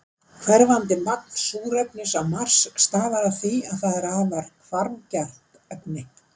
Hverfandi magn súrefnis á Mars stafar af því að það er afar hvarfgjarnt efni.